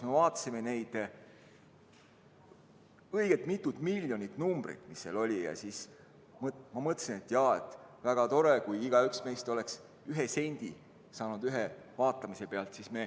Me vaatasime seda õige mitut miljonit vaatajat kajastavat numbrit, mis seal oli, ja siis ma mõtlesin, et küll oleks tore, kui igaüks meist oleks saanud ühe sendi ühe vaatamise pealt.